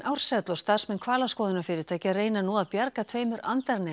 Ársæll og starfsmenn hvalaskoðunarfyrirtækja reyna nú að bjarga tveimur